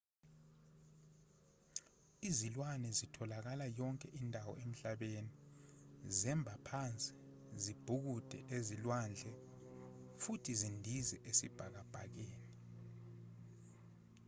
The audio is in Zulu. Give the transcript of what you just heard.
izilwane zitholakala yonke indawo emhlabeni zemba phansi zibhukude ezilwandle futhi zindize esibhakabhakeni